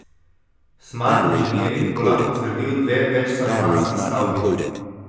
Smart Inženiring bo lahko zgradil dve večstanovanjski stavbi.